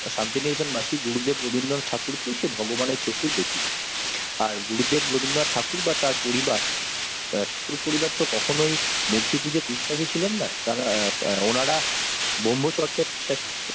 শান্তিনিকেতন বাসি গুরুদেব রবীন্দ্রনাথ ঠাকুর কে ভগবানের চোখেই দেখি আর গুরুদেব রবীন্দ্রনাথ ঠাকুর বা তার পরিবার তার পরিবার তো কখনোই মূর্তিপূজায় বিশ্বাসী ছিলেন না তারা অ্যাঁ ওনারা ব্রহ্মচর্যায় বিশ্বাসী।